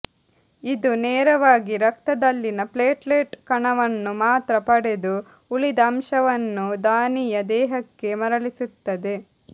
ಇದು ನೇರವಾಗಿ ರಕ್ತದಲ್ಲಿನ ಪ್ಲೆಟ್ಲೇಟ್ ಕಣವನ್ನು ಮಾತ್ರ ಪಡೆದು ಉಳಿದ ಅಂಶವನ್ನು ದಾನಿಯ ದೇಹಕ್ಕೆ ಮರಳಿಸುತ್ತದೆ